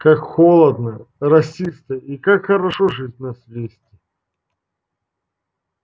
как холодно росисто и как хорошо жить на свете